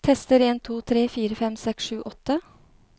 Tester en to tre fire fem seks sju åtte